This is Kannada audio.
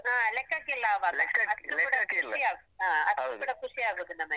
ಹ. ಲೆಕ್ಕಕ್ಕಿಲ್ಲ ಆವಾಗ. ಅಷ್ಟೂ ಕೂಡ ಖುಷಿಯಾಗುದು ನಮಗೆ.